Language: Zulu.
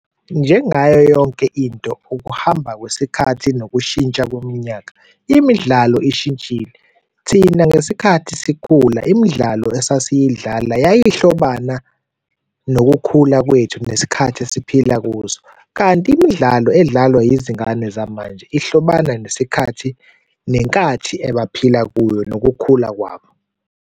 Njengayo yonke into, ukuhamba kwesikhathi nokushintsha kweminyaka, imidlalo ishintshile. Thina ngesikhathi sikhula imidlalo esasiyidlala yayihlobana nokukhula kwethu nesikhathi esiphila kuso. Kanti imidlalo edlalwa yizingane zamanje ihlobana nesikhathi, nenkathi abaphila kuyo nokukhula kwabo.